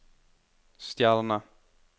stjerne